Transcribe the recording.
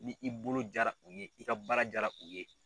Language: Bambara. Ni i bolo jara u ye, n'i ka baara jara u ye